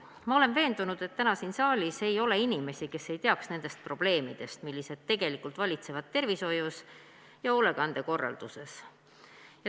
Ma olen veendunud, et täna ei ole siin saalis inimesi, kes ei teaks nendest probleemidest, mis tegelikult valitsevad tervishoius ja hoolekande korralduses.